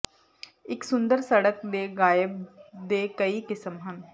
ਇਕ ਸੁੰਦਰ ਸੜਕ ਦੇ ਗਾਇਬ ਦੇ ਕਈ ਕਿਸਮ ਹਨ